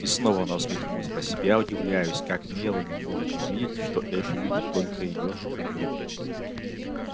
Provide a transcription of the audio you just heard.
и снова она усмехнулась про себя удивляясь как мелани может не видеть что эшли любит только её как друг